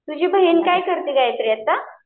तुझी बहीण काय करते गायत्री आता?